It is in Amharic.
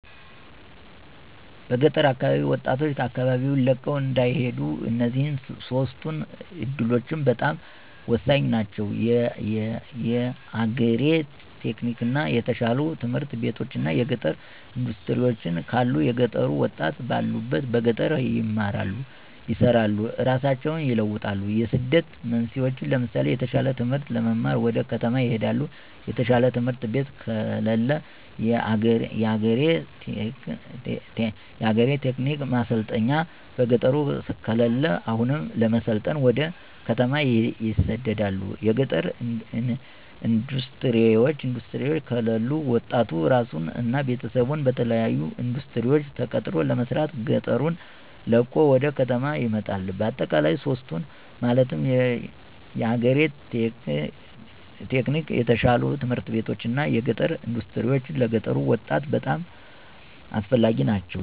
በገጠር አካባቢ ወጣቶች አካባቢወን ለቀው እንዳይሄዱ እነዚህ ሶስቱ እዱሎች በጣም ሆሳኝ ናቸው። የአግሪ-ቴክኒክ፣ የተሻሉ ትምህርት ቤቶች እና የገጠር እንዳስትሪወች ካሉ የገጠሩ ወጣት ባሉበት በገጠር ይማራሉ፣ ይሰራሉ እራሳቸውን ይለውጣሉ። የስደት መንስኤወች ለምሳሌ የተሻለ ትምህርት ለመማር ወደ ከተማ ይሄዳሉ። የተሻለ ትምህርት ቤት ከለለ። የአግሪ-ቴክ ማሰልጠኛ በገጠሩ ከለለ አሁንም ለመሰልጠን ወደ ከተማ ይሰደዳሉ። የገጠር እንዳስትሪወች ከለሉ ወጣቱ እራሱን እና ቤተሰቡን በተለያሉ እንዳስትሪወች ተቀጥሮ ለመስራት ገጠሩን ለቆ ወደ ከተማ ይመጣል። በአጠቃላይ ሶስቱ ማለትም የአግሪ-ቴክ፣ የተሻሉ ት/ቤቶች እና የገጠር እንዳስትሪወች ለገጠሩ ወጣት በጣም አስፈላጊ ናቸው።